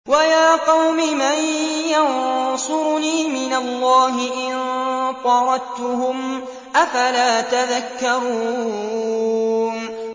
وَيَا قَوْمِ مَن يَنصُرُنِي مِنَ اللَّهِ إِن طَرَدتُّهُمْ ۚ أَفَلَا تَذَكَّرُونَ